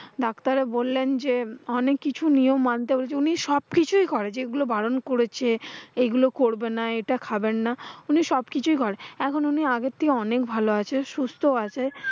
Doctor বললেন যে, অনেক কিছু নিয়ম মানতে হবে। উনি সবকিছুই করে যেগুলো বারণ করেছে, এইগুলো করবেন না, এটা খাবেন না। উনি সবকিছু করে, এখন উনি আগে থেকে অনেক ভালো আছে সুস্থ আছে।